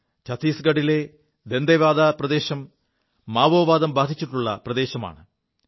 ഛത്തീസ്ഗഢിലെ ദന്തേവാഡാ പ്രദേശം മാവോവാദം ബാധിച്ചിുള്ള പ്രദേശമാണ്